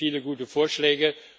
Es gibt viele gute Vorschläge.